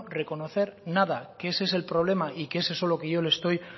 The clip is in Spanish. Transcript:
reconocer nada que ese es el problema y que es eso lo que yo le estoy